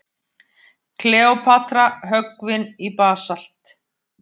Kleópatra höggvin í basalt.